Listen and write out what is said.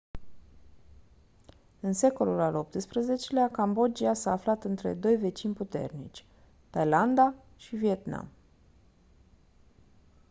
în secolul al xviii-lea cambodgia s-a aflat între doi vecini puternici thailanda și vietnam